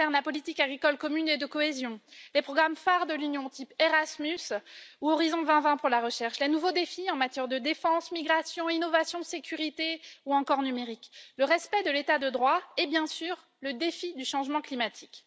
elles concernent la politique agricole commune et de cohésion, les programmes phares de l'Union comme Erasmus ou Horizon 2020 pour la recherche, les nouveaux défis en matière de défense, de migration, d'innovation, de sécurité ou encore de numérique, le respect de l'état de droit et, bien sûr, le défi du changement climatique.